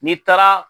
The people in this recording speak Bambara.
N'i taara